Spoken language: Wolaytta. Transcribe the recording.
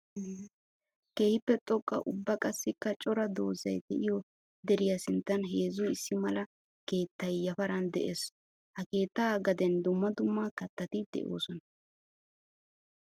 Keehippe xoqqa ubba qassikka cora doozay de'iyo deriya sinttan heezzu issi mala keettay yafaran de'ees. Ha keetta gaden dumma dumma kattatti de'osonna.